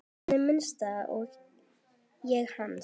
Þannig minnist ég hans.